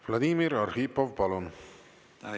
Vladimir Arhipov, palun!